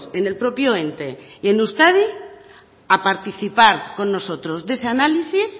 en el propio ente y en euskadi a participar con nosotros de ese análisis